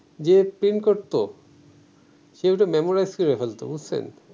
যে প্রিন্ট করতো সে ঐটা মেমোরাইজ করে ফেলতো বুজছেন